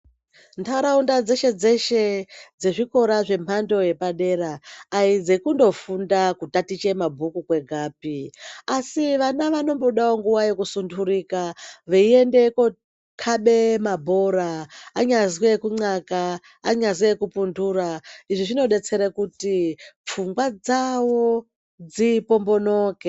Ntaraunda dzeshe-dzeshe dzezvikora zvemhando yepadera aidzekundofunda kutakicha mabhuku kwegapi asi vana vanombodawo nguwa yekusunturika veiende kokabe mabhora, anyazwi kunxaka, anyazwi ekupuntura . Izvi zvinodetsera kuti pfungwa dzavo dzipombonoke.